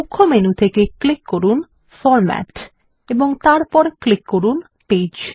মুখ্য মেনু থেকে ক্লিক করুন ফরম্যাট এবং তারপর ক্লিক করুন পেজ